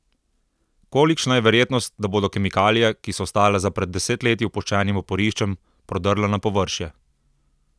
Kolikšna je verjetnost, da bodo kemikalije, ki so ostale za pred desetletji opuščenim oporiščem, prodrle na površje?